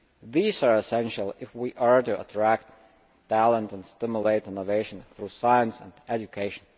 These are essential if we are to attract talent and stimulate innovation through science and education.